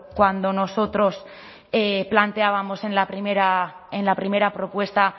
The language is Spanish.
cuando nosotros planteábamos en la primera propuesta